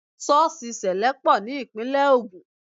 Sọ́ọ̀sì sẹlẹ pọ̀ ní Ìpínlẹ̀ Ogun